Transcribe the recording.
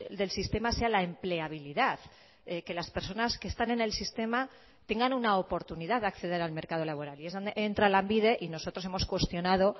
del sistema sea la empleabilidad que las personas que están en el sistema tengan una oportunidad de acceder al mercado laboral y es donde entra lanbide y nosotros hemos cuestionado